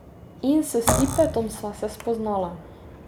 In s Stipetom sva se spoznala.